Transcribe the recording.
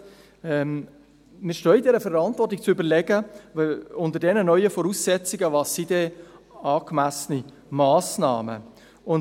Wir stehen in der Verantwortung zu überlegen, welches unter diesen neuen Voraussetzungen angemessene Massnahmen sind.